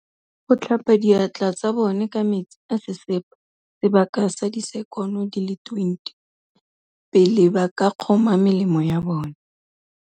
Go tlhapa diatla tsa bone ka metsi a sesepa sebaka sa disekono di le 20, pele ba ka kgoma melemo ya bona.